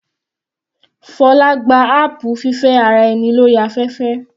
Fola gba apu fífẹ́ ara ẹni lórí afẹ́fẹ́.